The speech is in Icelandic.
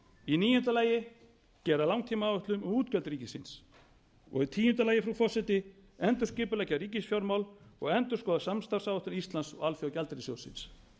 í níunda lagi gera langtímaáætlun við útgjöld ríkisins í tíunda lagi frú forseti endurskipuleggja ríkisfjármál og endurskoða samstarfsáætlun íslands og alþjóðagjaldeyrissjóðsins